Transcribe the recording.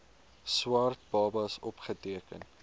swart babas opgeteken